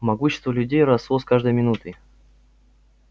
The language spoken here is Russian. могущество людей росло с каждой минутой